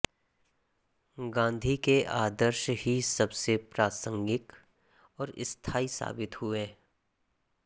गांधी के आदर्श ही सबसे प्रासंगिक और स्थायी साबित हुए